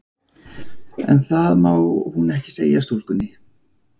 En það má hún ekki segja stúlkunni.